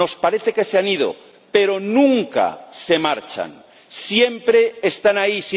Nos parece que se han ido, pero nunca se marchan, siempre están ahí.